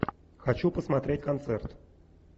хочу посмотреть концерт